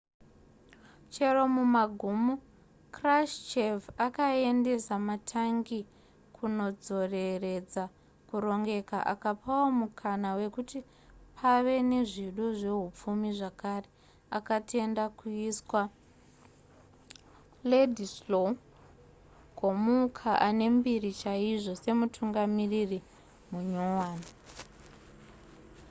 chero mumagumo krushchev akaendesa matangi kunodzoreredza kurongeka akapawo mukana wekuti pave nezvido zvehupfumi zvakare akatenda kuisa wladyslaw gomulka ane mbiri chaizvo semutungamiriri munyowani